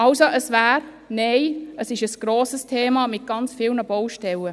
Es ist ein grosses Thema mit ganz vielen Baustellen.